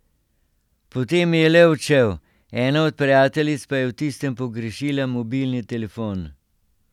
Potem je le odšel, ena od prijateljic pa je v tistem pogrešila mobilni telefon.